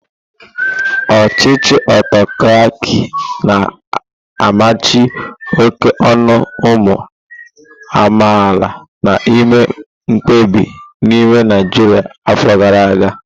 Ochichi autokraki na amachi oke onu umu amaala na ime mkpebi n'ime Naijria afọ gara aga.